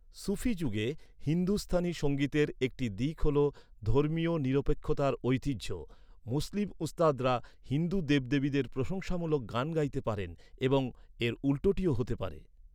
সুফি যুগে হিন্দুস্থানি সঙ্গীতের একটি দিক হল ধর্মীয় নিরপেক্ষতার ঐতিহ্য, মুসলিম উস্তাদরা হিন্দু দেবদেবীদের প্রশংসামূলক গান গাইতে পারেন এবং এর উল্টোটিও হতে পারে।